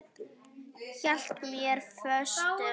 Hélt mér föstum.